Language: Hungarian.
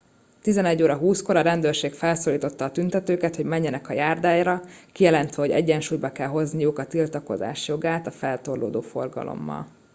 11 20 kor a rendőrség felszólította a tüntetőket hogy menjenek a járdára kijelentve hogy egyensúlyba kell hozniuk a tiltakozás jogát a feltorlódó forgalommal